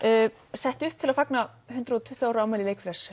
sett upp til að fagna hundrað og tuttugu ára afmæli Leikfélags